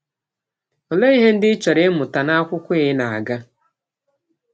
Ọlee ihe ndị ị chọrọ ịmụta n’akwụkwọ ị na - aga?